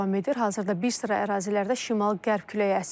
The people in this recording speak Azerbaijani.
Hazırda bir sıra ərazilərdə şimal-qərb küləyi əsir.